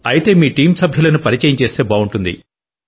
అయితే మీ టీం సభ్యులను పరిచయం చేస్తే బావుంటుంది